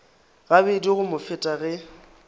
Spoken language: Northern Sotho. gabedi go mo feta ge